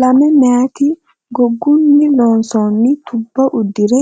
Lame meyaati gogunni loosamino tubba uddire